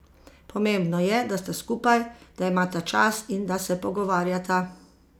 Pomembno je, da sta skupaj, da imata čas in da se pogovarjata.